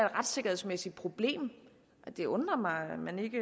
retssikkerhedsmæssigt problem det undrer mig at man ikke